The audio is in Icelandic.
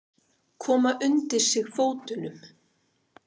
Koma undir sig fótunum.